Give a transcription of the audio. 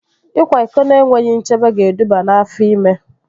Ịkwa iko na-enweghị nchebe ga-eduba n'afọ ime